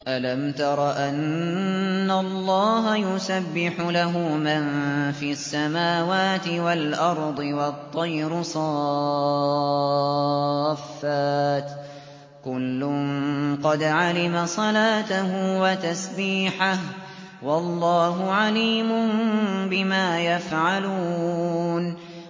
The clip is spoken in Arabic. أَلَمْ تَرَ أَنَّ اللَّهَ يُسَبِّحُ لَهُ مَن فِي السَّمَاوَاتِ وَالْأَرْضِ وَالطَّيْرُ صَافَّاتٍ ۖ كُلٌّ قَدْ عَلِمَ صَلَاتَهُ وَتَسْبِيحَهُ ۗ وَاللَّهُ عَلِيمٌ بِمَا يَفْعَلُونَ